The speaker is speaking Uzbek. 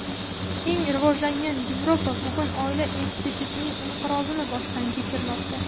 Eng rivojlangan Yevropa bugun oila institutining inqirozini boshdan kechirmoqda.